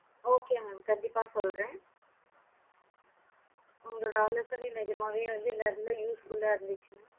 okay mam கண்டிப்பா சொல்லுறேன் நல்ல usefull இருஞ்சி